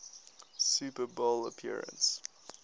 super bowl appearance